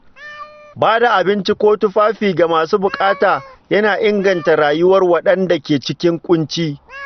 Ba da abinci ko tufafi ga masu bukata yana inganta rayuwar waɗanda ke cikin ƙunci.